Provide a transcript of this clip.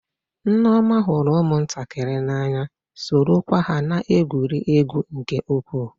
Nneoma hụrụ ụmụntakịrị n'anya, sorokwa ha na-egwuri egwu nke ukwuu.